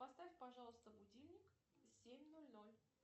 поставь пожалуйста будильник семь ноль ноль